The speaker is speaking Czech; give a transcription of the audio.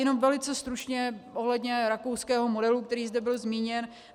Jenom velice stručně ohledně rakouského modelu, který zde byl zmíněn.